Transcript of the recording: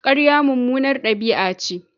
Ƙarya mummunar ɗabi'a ce.